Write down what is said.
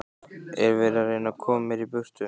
Er verið að reyna að koma mér í burtu?